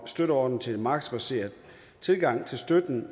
støtteordning til en markedsbaseret tilgang til støtten